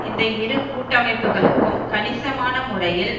இந்த இரு கூட்டமைப்புக்களுக்கும் கணிசமான முறையில்